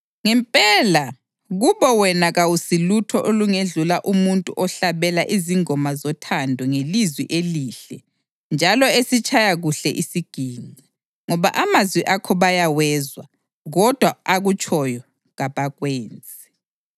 Ngempela, kubo wena kawusilutho olungedlula umuntu ohlabela izingoma zothando ngelizwi elihle njalo esitshaya kuhle isiginci, ngoba amazwi akho bayawezwa, kodwa akutshoyo kabakwenzi.